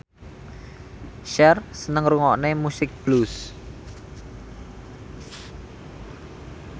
Cher seneng ngrungokne musik blues